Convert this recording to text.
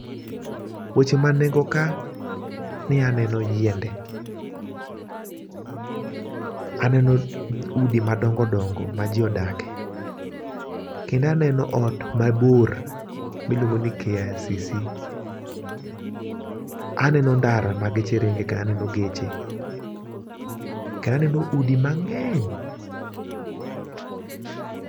Weche ma nengo ka ni aneno yiende. Aneno udi madongodongo ma jii odake, kendo aneno ot mabor miluongo ni KICC, aneno ndara ma geche ringe kendo aneno geche ,kendo aneno udi mang'eny